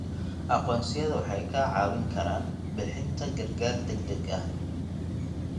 Aqoonsiyadu waxay kaa caawin karaan bixinta gargaar degdeg ah.